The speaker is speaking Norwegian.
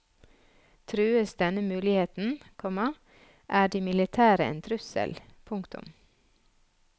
Trues denne muligheten, komma er de militære en trussel. punktum